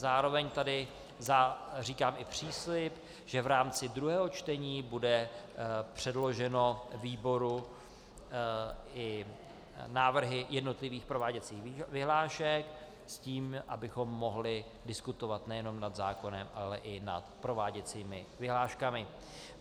Zároveň tady říkám i příslib, že v rámci druhého čtení budou předloženy výboru i návrhy jednotlivých prováděcích vyhlášek, s tím abychom mohli diskutovat nejenom nad zákonem, ale i nad prováděcími vyhláškami.